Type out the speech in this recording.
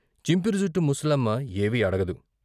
చింపిరి జుట్టు ముసలమ్మ ఏవీ అడగదు.